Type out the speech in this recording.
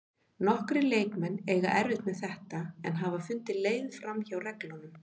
Nokkrir leikmenn eiga erfitt með þetta en hafa fundið leið framhjá reglunum.